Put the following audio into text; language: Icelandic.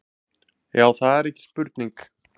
Það er ekki spurning